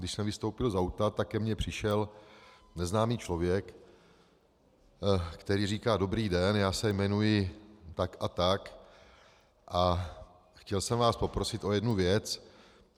Když jsem vystoupil z auta, tak ke mně přišel neznámý člověk, který říká: Dobrý den, já se jmenuji tak a tak a chtěl jsem vás poprosit o jednu věc.